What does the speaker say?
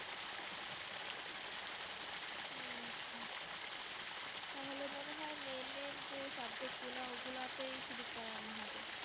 তাহলে মনে হয় main main যে Subject ওগুলো ওগুলোতেই শুধু পড়ানো হবে